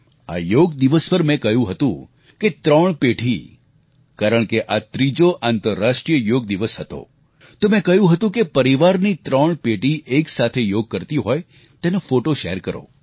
આ યોગ દિવસ પર મેં કહ્યું હતું કે ત્રણ પેઢી કારણ કે આ ત્રીજો આંતરરાષ્ટ્રીય યોગ દિવસ હતો તો મે કહ્યું હતું કે પરિવારની ત્રણ પેઢી એકસાથે યોગ કરતી હોય તેનો ફોટો શેર કરો